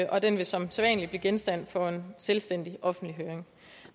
og den vil som sædvanlig blive genstand for en selvstændig offentlig høring